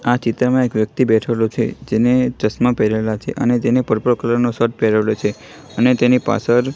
આ ચિત્રમાં એક વ્યક્તિ બેઠેલો છે જેને ચશ્મા પહેરેલા છે અને તેને પર્પલ કલર નો શર્ટ પહેરેલો છે અને તેની પાછળ--